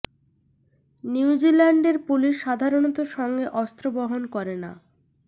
new জিল্যান্ডের পুলিশ সাধারণত সঙ্গে অস্ত্র বহন করে না